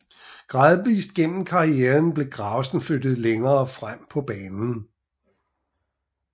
Gradvist gennem karrieren blev Gravesen flyttet længere frem på banen